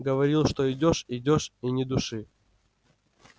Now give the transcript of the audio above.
говорил что идёшь идёшь и ни души